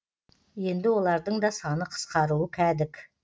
енді олардың да саны қысқаруы кәдік